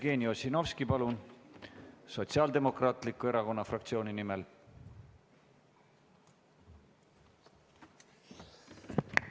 Jevgeni Ossinovski, palun, Sotsiaaldemokraatliku Erakonna fraktsiooni nimel!